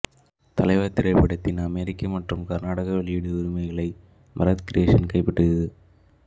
தலைவா திரைப்படத்தின் அமெரிக்க மற்றும் கனடா வெளியீடு உரிமையை பரத் கிரியேசன்ஸ் கைப்பற்றியது